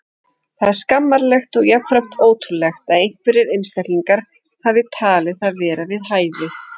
Það er skammarlegt og jafnframt ótrúlegt að einhverjir einstaklingar hafi talið það vera við hæfi.